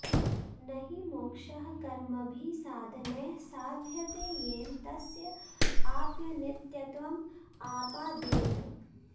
न हि मोक्षः कर्मभिः साधनैः साध्यते येन तस्य आप्यनित्यत्वं आपाद्येत